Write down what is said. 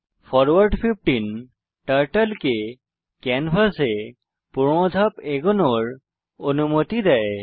forward 15 turtle কে ক্যানভাসে 15 ধাপ এগোনোর অনুমতি দেয়